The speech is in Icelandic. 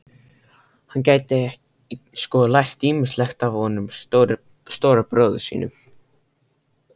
Hann gæti sko lært ýmislegt af honum stóra bróður sínum